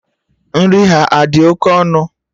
Nri ha adị oké ọnụ?